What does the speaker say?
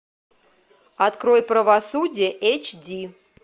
открой правосудие эйч ди